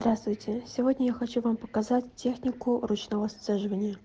здравствуйте сегодня я хочу вам показать технику ручного сцеживания